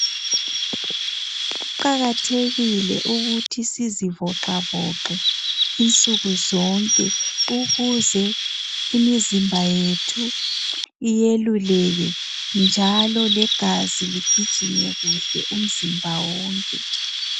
Kuqakathekile ukuthi sizivoxavoxe insukuzonke ukuze imizimba yethu iyeluleke njalo legazi ligijime kuhle umzimba wonke.